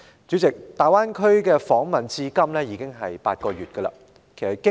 主席，大灣區訪問結束至今已將近8個月。